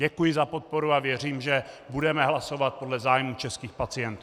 Děkuji za podporu a věřím, že budeme hlasovat podle zájmů českých pacientů.